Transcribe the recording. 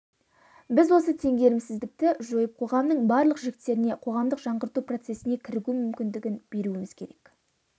біз осы теңгерімсіздікті жойып қоғамның барлық жіктеріне қоғамдық жаңғырту процесіне кірігу мүмкіндігін беруіміз керек